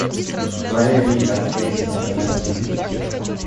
боевик от квентина тарантино